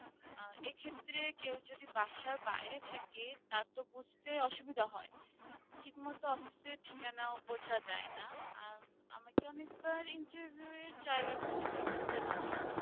এক্ষেত্রে কেউ যদি বাসার বাইরে থাকে তা তো বুঝতে অসুবিধা হয় ঠিকমতো office এর ঠিকানাও বোঝা যায় না আহ আমাকে অনেকবার interview এর জায়গা খুঁজে বের করতে না জানলে